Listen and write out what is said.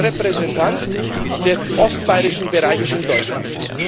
Ich bin ein Repräsentant des ostbayrischen Bereiches in Deutschland.